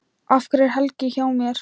Af hverju er Helgi hjá mér?